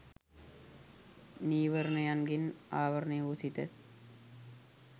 නීවරණයන්ගෙන් ආවරණය වූ සිත